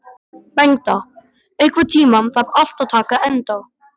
Bengta, einhvern tímann þarf allt að taka enda.